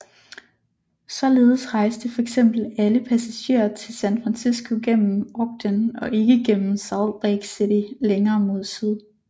Således rejste fx alle passager til San Francisco gennem Ogden og ikke gennem Salt Lake City længere mod syd